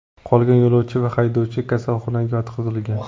Qolgan yo‘lovchi va haydovchi kasalxonaga yotqizilgan.